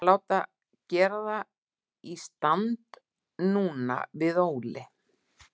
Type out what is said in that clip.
Við ætlum að láta gera það í stand núna, við Óli.